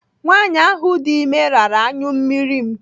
Nwaanyị ahụ dị ime rara anyụmmiri m.